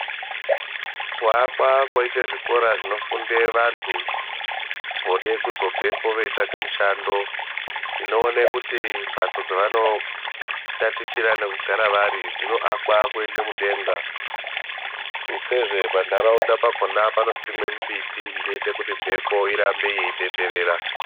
Kuakwa koitwe zvikora zvinofunde vantu vode kuzobvepo veitsvake mushando tinoone kuti mphatso dzavanotatichira nekugara vari dzinoakwa kuende mudenga tutsezve pantaraunda pakona panosimwa mimbiti inoite kuti mphepo irambe ichitenderera.